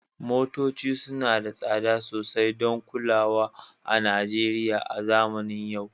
Motoci suna da tsada sosai don kulawa a Najeriya a zamanin yau